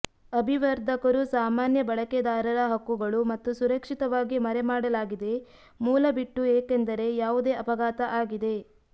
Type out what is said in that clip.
ಅಭಿವರ್ಧಕರು ಸಾಮಾನ್ಯ ಬಳಕೆದಾರರ ಹಕ್ಕುಗಳು ಮತ್ತು ಸುರಕ್ಷಿತವಾಗಿ ಮರೆಮಾಡಲಾಗಿದೆ ಮೂಲ ಬಿಟ್ಟು ಏಕೆಂದರೆ ಯಾವುದೇ ಅಪಘಾತ ಆಗಿದೆ